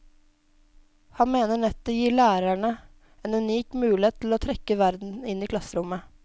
Han mener nettet gir lærerne en unik mulighet til å trekke verden inn i klasserommet.